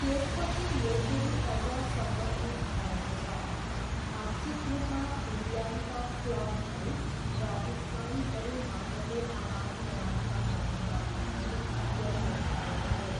त्यसपछि यो फेरि अझ सङ्गठित भएको छ, आंशिक रूपमा फिनल्यान्डका क्लबहरू र उत्साहीहरू माझको आदानप्रदानका माध्यमबाट पनि यसो भएको हो।